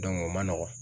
o ma nɔgɔ